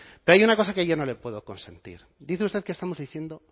pero hay una cosa que yo no le puedo consentir dice usted que estamos diciendo